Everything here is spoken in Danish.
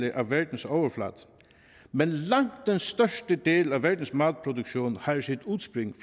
af verdens overflade men langt den største del af verdens madproduktion har sit udspring